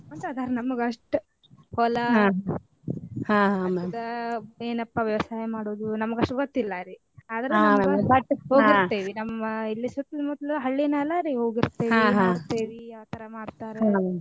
ಮಾಡ್ಕೊಂತ ಅದಾರಿ ನಮ್ದ ಅಷ್ಟ ನಮ್ಮ ಇಲ್ಲೆ ಸುತ್ತಲು ಮುತಲೂ ಹಳ್ಳಿ ಮ್ಯಾಲರಿ ಆತರಾ ಮಾಡ್ತಾರ ಹೊಲಾ ಮತ್ತ ಏನಪ್ಪಾ ವ್ಯವಸಾಯಾ ಮಾಡೋದು ನಮ್ಗ ಅಷ್ಟ ಗೊತ್ತ ಇಲ್ಲಾರಿ ನಮ್ಮ ಇಲ್ಲೆ ಸುತ್ತಲು ಮುತಲೂ ಹಳ್ಳಿ ಮ್ಯಾಲರಿ ಆತರಾ ಮಾಡ್ತಾರ.